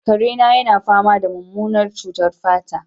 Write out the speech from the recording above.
kare na yana fama da mummunar cutar fata